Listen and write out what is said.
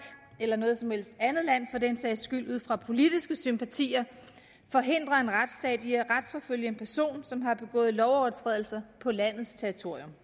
eller noget som helst andet land for den sags skyld ud fra politiske sympatier forhindrer en retsstat i at retsforfølge en person som har begået lovovertrædelser på landets territorium